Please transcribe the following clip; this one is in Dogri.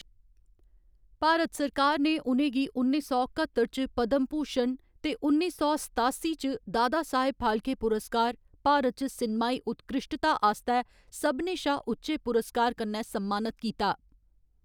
भारत सरकार ने उ'नें गी उन्नी सौ कत्तर च पद्‌म भूषण ते उन्नी सौ सतासी च दादा साहब फाल्के पुरस्कार भारत च सिनमाई उत्कृश्टता आस्तै सभनें शा उच्चे पुरस्कार, कन्नै सम्मानत कीता।